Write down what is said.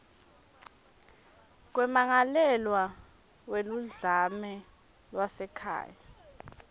kwemmangalelwa weludlame lwasekhaya